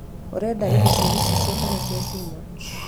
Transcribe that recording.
Nĩ ũrenda indo cia gĩcicio kana cia cuma